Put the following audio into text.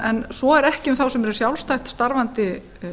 en svo er ekki um þá sem eru sjálfstætt starfandi